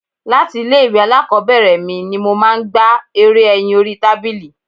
Láti ilé ìwé alákòbẹ̀rẹ̀ mi ni mo máa ń gbá eré ẹyin orí tábìlì.